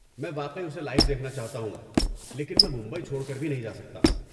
میں واقعی اسے لائیو دیکھنا چاہتا ہوں، لیکن میں ممبئی چھوڑ کر بھی نہیں جا سکتا۔